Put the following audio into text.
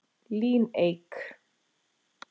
Líneik